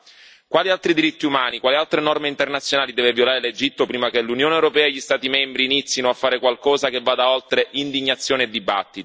Quali altri diritti umani, quali altre norme internazionali deve violare l'Egitto prima che l'Unione europea e gli Stati membri inizino a fare qualcosa che vada oltre indignazione e dibattiti?